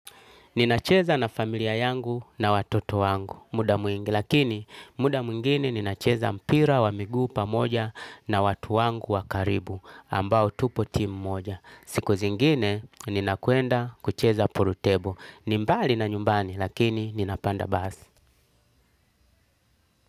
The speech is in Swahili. Ninacheza na familia yangu na watoto wangu muda mwingi, lakini muda mwingine ninacheza mpira wa miguu pamoja na watu wangu wa karibu, ambao tupo timu moja. Siku zingine ninakwenda kucheza pool table. Ni mbali na nyumbani lakini ninapanda basi.